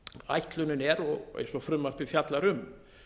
ætlunin er og eins og frumvarpið fjallar um